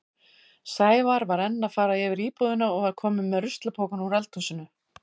Sævar var enn að fara yfir íbúðina og var kominn með ruslapokann úr eldhúsinu.